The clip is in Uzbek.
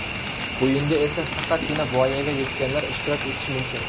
O‘yinda esa faqatgina voyaga yetganlar ishtirok etishi mumkin.